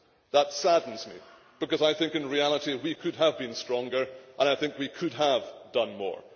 That saddens me, because I think that in reality we could have been stronger and I think we could have done more.